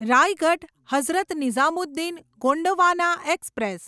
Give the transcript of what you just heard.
Raigad Hazrat Nizamuddin Gondwana express